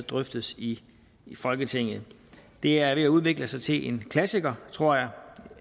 drøftes i folketinget det er ved at udvikle sig til en klassiker tror jeg